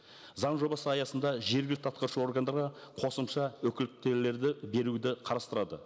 заң жобасы аясында жергілікті атқарушы органдарға қосымша беруді қарастырады